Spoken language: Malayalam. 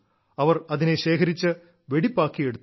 അവർ അതിനെ ശേഖരിച്ച് വെടിപ്പാക്കിയെടുത്തു